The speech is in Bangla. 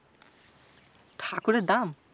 ঠাকুরের দাম?